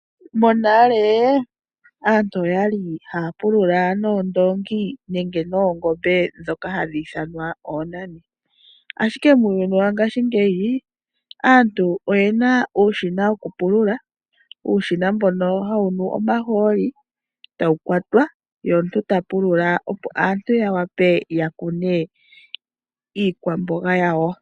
Monale aantu okwali haya pulula noondongi nenge noongombe ndhoka hadhi ithanwa oonani. Ashike muuyuni wangashingeyi aantu oyena uushina wokupulula. Uushina mbono hawu nu omahooli etawu kwatwa ye omuntu ta pulula opo aantu yawape yakune iikwamboga yawo.